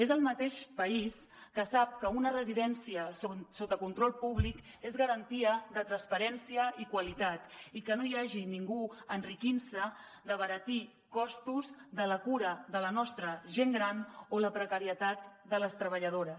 és el mateix país que sap que una residència sota control públic és garantia de transparència i qualitat i que no hi hagi ningú enriquint se d’abaratir costos de la cura de la nostra gent gran o la precarietat de les treballadores